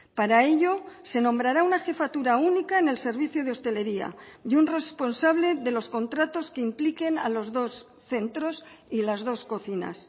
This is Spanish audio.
para ello se nombrará una jefatura única en el servicio de hostelería y un responsable de los contratos que impliquen a los dos centros y las dos cocinas